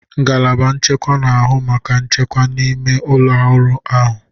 Ngalaba nchekwa na-ahụ maka nchekwa n'ime ụlọ ọrụ ahụ.